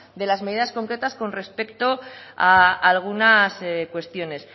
de las medidas concretas con respecto a algunas cuestiones